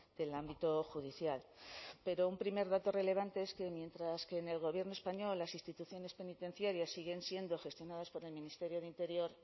del ámbito judicial pero un primer dato relevante es que mientras que en el gobierno español las instituciones penitenciarias siguen siendo gestionadas por el ministerio de interior